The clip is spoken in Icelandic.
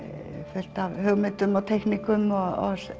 fullt af hugmyndum og teikningum og